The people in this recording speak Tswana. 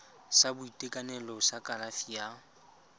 sa boitekanelo sa kalafi ya